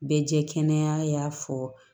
Bɛɛ jɛ kɛnɛ y'a fɔ